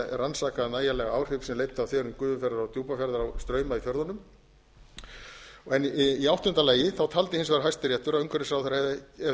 rannsakað nægjanlega áhrif sem leiddu af þverun gufufjarðar og djúpafjarðar á strauma í fjörðunum í áttunda og síðasta lagi taldi hæstiréttur að umhverfisráðherra hefði verið óheimilt að